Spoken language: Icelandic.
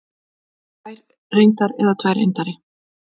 Tvær reyndar eða tvær reyndar?